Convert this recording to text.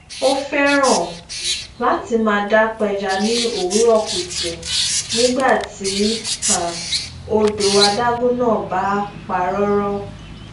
ó fẹran láti máa dá pẹja ní òwúrò kùtù nígbà tí um odò adágún náà bá pa róró